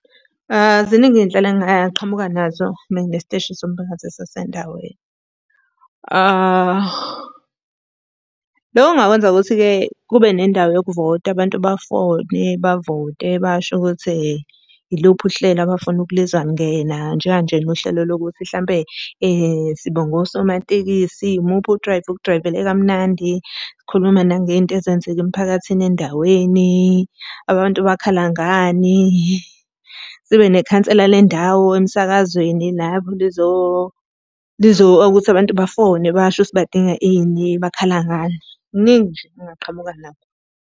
Ziningi iy'nhlelo engingaqhamuka nazo uma nginesiteshi somphakathi esisendaweni. Loko ngingakwenza ngokuthi-ke kube nendawo yokuvota, abantu bafone, bavote, basho ukuthi Iluphi uhlelo abafuna ukulizwa lungena. Njenga nje nohlelo lokuthi hlampe , sibonga osomatekisi, Imuphi udrayva okudrayivele kamnandi. Sikhuluma nangey'nto ezenzeka emphakathini endaweni. Abantu bakhala ngani. Sibe nekhansela le ndawo emsakazweni lapho lizo ukuthi abantu bafone basho ukuthi badinga ini, bakhala ngani. Kuningi nje engingaqhamuka nakho.